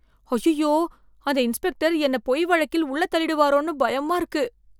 அய்யய்யோ! அந்த இன்ஸ்பெக்டர் என்ன பொய் வழக்கில் உள்ள தள்ளிடுவாரோனு பயமா இருக்கு